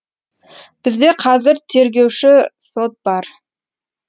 бізде қазір тергеуші сот бар